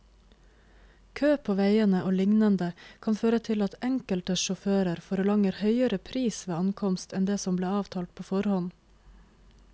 Kø på veiene og lignende kan føre til at enkelte sjåfører forlanger høyere pris ved ankomst enn det som ble avtalt på forhånd.